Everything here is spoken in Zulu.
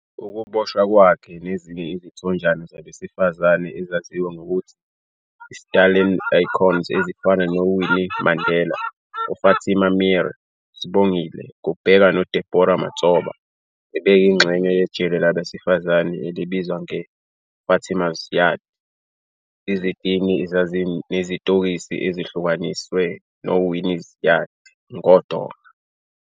Ukuboshwa kwakhe, nezinye izithonjana zabesifazane ezaziwa ngokuthi yi-Stallenle icons ezifana noWinnie Mandela, uFatima Meer, uSibongile Kubheka noDeborah Matshoba, bebeyingxenye yejele labesifazane elibizwa nge- "Fatima's Yard", izitini ezazinezitokisi ezihlukaniswe "noWinnie's Yard" ngodonga.